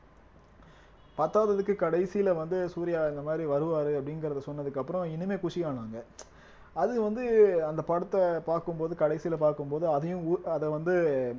பத்தாததுக்கு கடைசியில வந்து சூர்யா இந்த மாதிரி வருவாரு அப்படிங்கிறத சொன்னதுக்கு அப்புறம் இன்னுமே குஷியானாங்க அது வந்து அந்த படத்த பார்க்கும் போது கடைசியில பார்க்கும் போது அதையும் உ~ அத வந்து